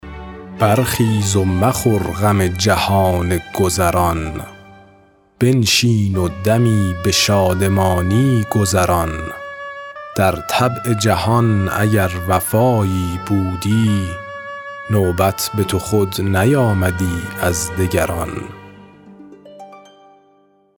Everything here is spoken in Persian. برخیز و مخور غم جهان گذران بنشین و دمی به شادمانی گذران در طبع جهان اگر وفایی بودی نوبت به تو خود نیامدی از دگران